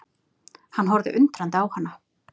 Hann horfði undrandi á hana.